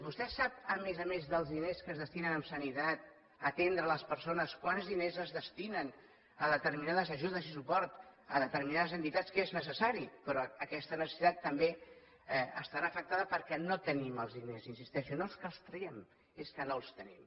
vostè sap a més a més dels diners que es destinen a sanitat a atendre les persones quants diners es destinen a determinades ajudes i suport a determinades entitats que és necessari però aquesta necessitat també estarà afectada perquè no tenim els diners hi insisteixo no és que els traguem és que no els tenim